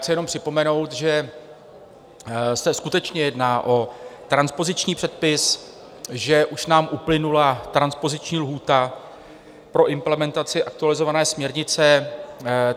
Chci jenom připomenout, že se skutečně jedná o transpoziční předpis, že už nám uplynula transpoziční lhůta pro implementaci aktualizované směrnice.